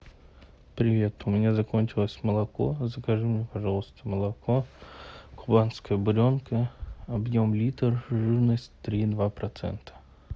привет у меня закончилось молоко закажи мне пожалуйста молоко кубанская буренка объем литр жирность три и два процента